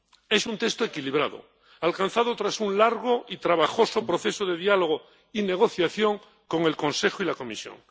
Es un texto equilibrado, alcanzado tras un largo y trabajoso proceso de diálogo y negociación con el Consejo y la Comisión.